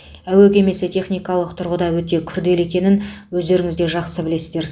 әуе кемесі техникалық тұрғыда өте күрделі екенін өздеріңіз де жақсы білесіздер